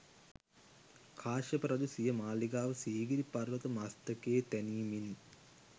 කාශ්‍යප රජු සිය මාළිගාව සීගිරි පර්වත මස්තකයේ තැනීමෙනි